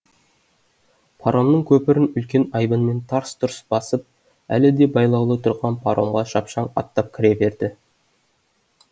паромның көпірін үлкен айбынмен тарс тұрс басып әлі де байлаулы тұрған паромға шапшаң аттап кіре берді